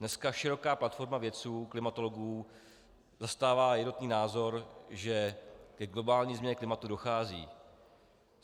Dneska široká platforma vědců, klimatologů zastává jednotný názor, že ke globální změně klimatu dochází.